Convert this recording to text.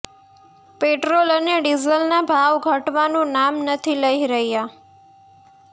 petrol અને ડીઝલના ભાવ ઘટવાનું નામ નથી લઇ રહ્યા